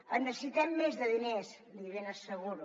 en necessitem més de diners l’hi ben asseguro